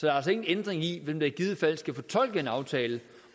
er altså ingen ændring i hvem der i givet fald skal fortolke en aftale